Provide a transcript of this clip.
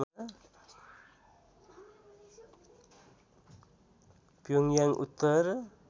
प्योङयाङ उत्तर